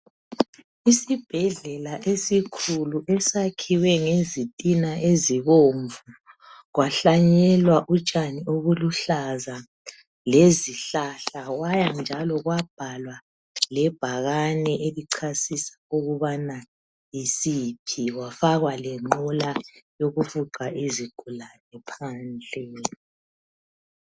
Isibhedlela esikhulu esakhiwe ngezitina ezibomvu, kwahlanyelwa utshani obuluhlaza lezihlahla kwaya njalo kwabhalwa lebhakane elichasisa ukubana yisiphi kwafakwa lenqola yokufuqa izigulane phandle.